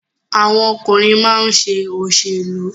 Àwọn ọkùnrin máa ń ṣe òṣèlú.